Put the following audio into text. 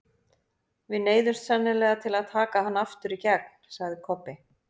Við neyðumst sennilega til að taka hann aftur í gegn, sagði Kobbi.